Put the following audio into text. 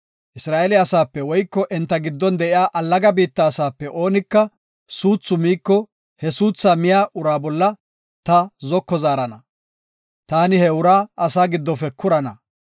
“Isra7eele asaape woyko enta giddon de7iya allaga biitta asaape oonika suuthu miiko, he suuthaa miya uraa bolla ta zoko zaarana; taani he uraa asaa giddofe kurana.